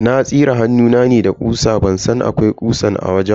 Na tsire hannuna ne da ƙusa ban san akwai ƙusan a wajen ba.